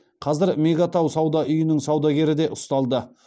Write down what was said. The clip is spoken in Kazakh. қазір мега тау сауда үйінің саудагері де ұсталды